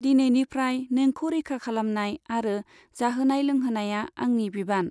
दिनैनिफ्राय, नोंखौ रैखा खालामनाय आरो जाहोनाय लोंहोनाया आंनि बिबान।